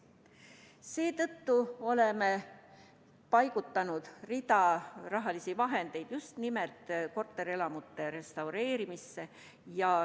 Seetõttu oleme paigutanud rahalisi vahendeid just nimelt korterelamute restaureerimisse.